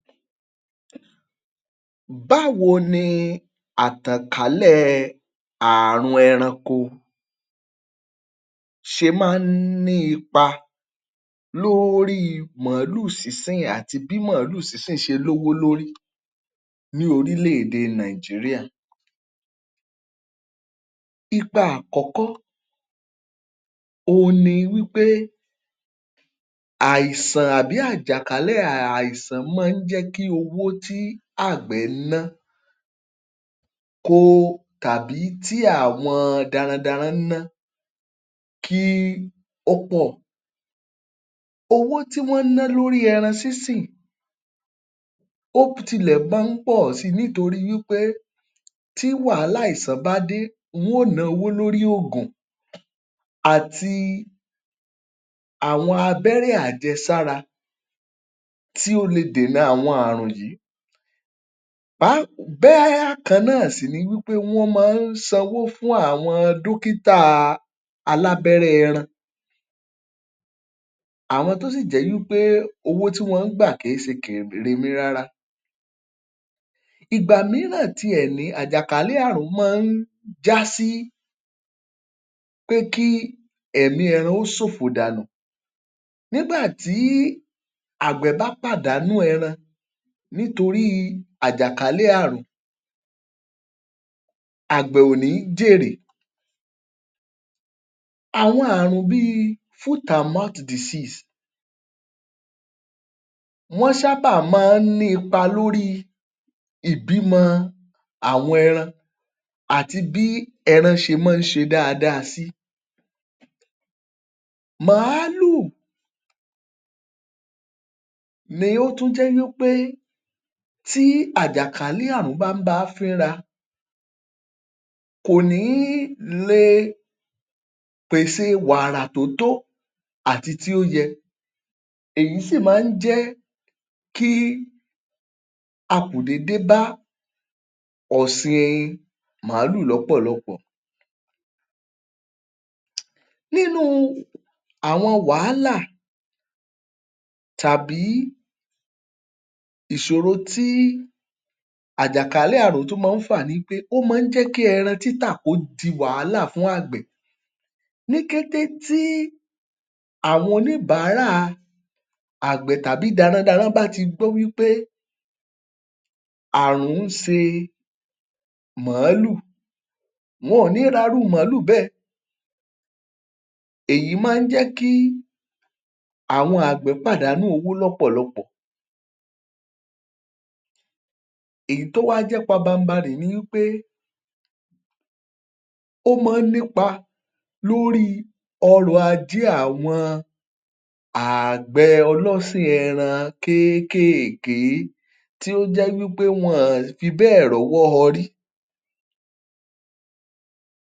Báwo ni àtànkálẹ̀ẹ ààrùn ẹranko ṣe máa ń ní ipa lóri màálù sínsìn àti bí màálù sínsìn ṣe lówó lórí ní orílẹ̀ èdè Nàìjíríà. Ipa àkọ́kọ́ òun ni wí pé àìsàn àbí àjàkálẹ̀ àìsàn maá ń jẹ́ kí owó tí àgbẹ̀ ná ko tàbí tí àwọn darandaran ń ná kí ó pọ̀. Owó tí wọ́n ń ná lóri ẹran sínsìn ó tilẹ̀ máa ń pọ̀ si nítorí wípé tí wàhálà àìsàn bá dé wọ́n ò náwó lóri ògùn àti àwọn abẹ́rẹ́ àjẹsára tí ó le dènà àwọn àrùn yìí bákan náà sì ni wípé wọ́n maá sanwó fún àwọn dúkítàa alábẹ́rẹ́ ẹran, àwọn tó sì jẹ́ wípé owó tí wọ́n ń gbà kì í ṣe rárá. Ìgbà míràn tiẹ̀ ní àjàkálẹ̀ àrùn máa ń já sí pé kí ẹ̀mí ẹran ó ṣòfò dànù. Nígbà tí àgbẹ̀ bá pàdánù ẹran nítorí àjàkálẹ̀ àrùn àgbẹ̀ ò ní jèrè. Àwọn àrùn bíi wọ́n sábà máa ń ní ipa lóri ìbímọ àwọn ẹran àti bí ẹran ṣe máa ń ṣe dáadáa sí. Màálù ni ó tún jẹ́ wípé tí àjàkálẹ̀ àrùn bá ń bá a fínra kò ní lé è pèsè wàrà tó tó àti tí ó yẹ. Èyí sì máa ń jẹ́ kí akùdé débá ọ̀sìn in màálù lọ́pọ̀lọpọ̀. Nínú àwọn wàhálà tàbí ìṣòro tí àjàkálẹ̀ àrùn tún máa ń fà nipé ó máa ń jẹ́ kí ẹran títà kó di wàhálà fún àgbè. Ní kété tí àwọn oníbàárà àgbẹ̀ tàbí darandaran bá ti gbọ́ wípé àrùn ń ṣe màálù wọn ò ní ra irú màálù bẹ́ẹ̀. Èyí máa ń jẹ́ kí àwọn àgbẹ̀ pàdánù owó lọ́pọ̀lọpọ̀. Èyí tí ó wá jẹ́ papanbarì ni í pé ó maá nípa lórii ọrọ̀ ajé àwọn ààgbẹ ọlọ́sìn ẹran kékèèké tí ó jẹ́ wípé wọn ọ̀n fibẹ́ẹ̀ rọ́wọ́ họrí.